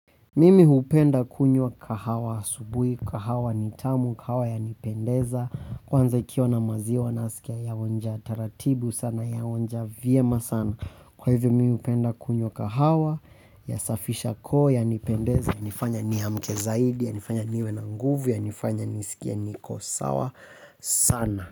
Mimi hupenda kunywa kahawa asubuhi, kahawa ni tamu, kahawa yanipendeza. Kwanza ikiwa na maziwa nasikia yaonja taratibu sana yaonja vyema sana. Kwa hivyo mi hupenda kunywa kahawa yasafisha koo yanipendeza. Yanifanya niamke zaidi, yanifanya niwe na nguvu, yanifanya nisikie niko sawa sana.